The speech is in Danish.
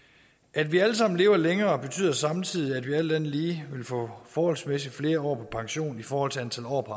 at vi alle sammen lever længere betyder samtidig at vi alt andet lige vil få forholdsmæssigt flere år på pension i forhold til antal år på